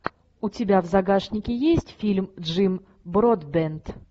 у тебя в загашнике есть фильм джим бродбент